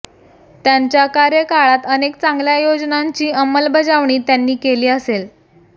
त्यांच्या कार्यकाळात अनेक चांगल्या योजनांची अंमलबजावणी त्यांनी केली असेल